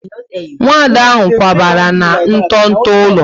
Nwada ahụ kwabara na nto nto ụlọ